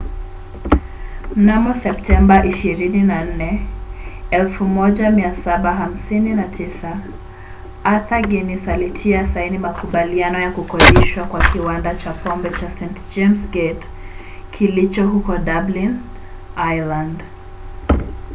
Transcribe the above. mnamo september 24 1759 arthur guinness alitia saini makubaliano ya kukodishwa kwa kiwanda cha pombe cha st james' gate kilicho huko dublin ireland